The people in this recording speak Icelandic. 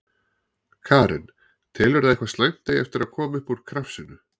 Karen: Telurðu að eitthvað slæmt eigi eftir að koma upp úr krafsinu?